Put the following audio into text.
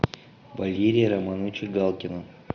валерия романовича галкина